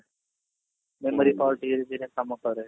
memory power ଧୀରେ ଧୀରେ କାମ କରେ